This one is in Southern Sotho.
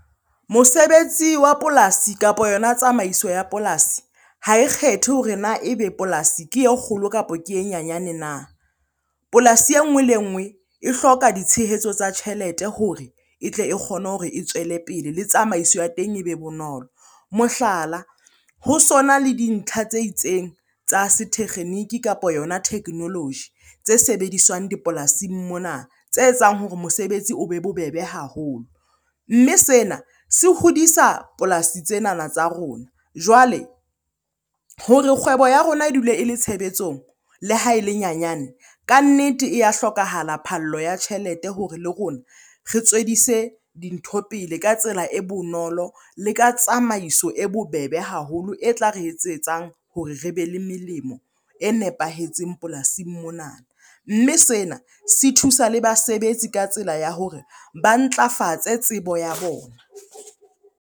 Mosebetsi wa polasi, kapo yona tsamaiso ya polasi ha e kgethe hore na ebe polasi ke e kgolo kapo ke e nyanyane na? Polasi e nngwe le e nngwe e hloka ditshehetso tsa tjhelete hore e tle e kgone hore e tswele pele, le tsamaiso ya teng e be bonolo. Mohlala, ho sona le dintlha tse itseng tsa setekgeniki kapo yona technology tse sebediswang dipolasing mona tse etsang hore mosebetsi o be bobebe haholo. Mme sena se hodisa polasi tsenana tsa rona. Jwale hore kgwebo ya rona e dule e le tshebetsong le ha e le nyanyane, kannete e ya hlokahala phallo ya tjhelete hore le rona re tswellise dintho pele ka tsela e bonolo le ka tsamaiso e bo bobebe haholo. E tla re etsetsang hore re be le melemo e nepahetseng polasing mona. Mme sena se thusa le basebetsi ka tsela ya hore ba ntlafatse tsebo ya bona.